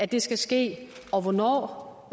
det skal ske og hvornår